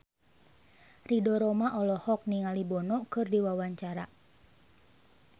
Ridho Roma olohok ningali Bono keur diwawancara